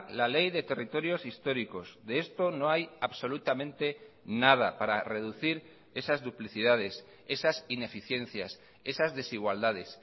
la ley de territorios históricos de esto no hay absolutamente nada para reducir esas duplicidades esas ineficiencias esas desigualdades